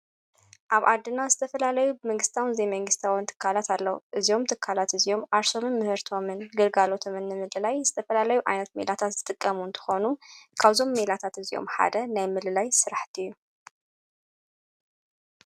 ኣብ ኣድና ዝተፈላለዩ ብምግሥታውን ዘይመንግሥታዊ ንትካላት ኣለዉ እዚዮም ተካላት እዚኦም ኣሰም ምህርቶምን ግልጋሎ ተምኒ ምል ላይ ዝተፈላለዩ ኣይኖት ሚላታት ዝጥቀሙን ተኾኑ ካውዞም ሚላታት እዚኦም ሓደ ናይ ምልላይ ሥራሕቲእዩ።